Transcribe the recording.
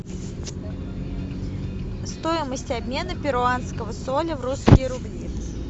стоимость обмена перуанского соля в русские рубли